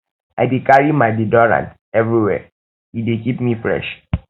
i dey carry my deodorant everywhere e dey keep me me fresh